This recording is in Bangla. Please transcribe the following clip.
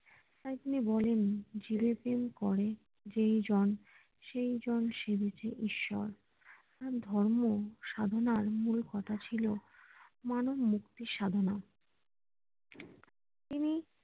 তাই তিনি বলেন জীবে প্রেম করে সে জন সে বেছে ঈশ্বর তার ধর্ম সাধনার মূল কথা ছিল মানব মুক্তির সাধনা তিনি